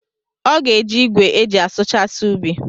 Ọ ga-eji igwe eji asụchasi ubi.